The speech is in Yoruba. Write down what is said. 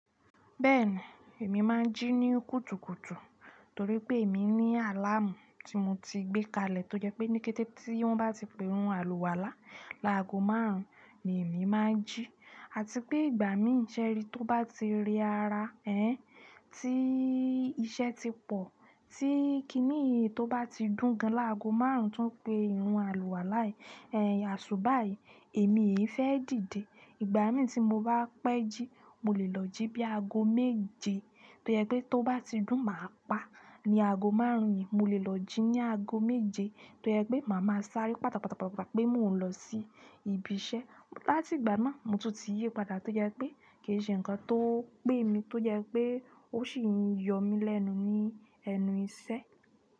Bẹ́ẹ̀ni, èmi máa ń jí ní kùtùkùtù torí pé èmi ní àláàmù tí mo ti gbé kalẹ̀ tó jẹ́ pé ní kété tí wọ́n bá ti pe irun àlùwàlá làágo márùn ún ni èmi máa ń jí àti pé ìgbà mí ìṣẹ́ rí tó bá ti rẹ ara ẹhn, tí iṣẹ́ ti pọ̀ tí kinìyí tó bá ti dùn gan làágo márùn ún tó ń pe irun àlùwàlá yìí, aṣubá yìí èmi è fẹ́ dìde. Ìgbà mí tí mo bá pẹ́ jí mo lè lọ jí bí i aago méje tó jẹ́ pé tó bá ti dùn màá pa ní aago márùn ún yìí mo lè lọ jí ní aago méje tó jẹ́ pé màá máa sáré pátàpàtápàtápàá pé mò ń lọ sí ibi iṣẹ́. Láti ìgbà náà mo tún ti yípadà tó jẹ pé kì í ṣe nǹkan tó ń pè mí tó jẹ́ pé ó ṣì ń yọ mí lẹ́nu ní ẹnu iṣẹ́.